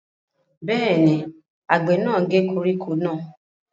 Bẹ́ẹ̀ ni, àgbẹ̀ náà gé koríko náà.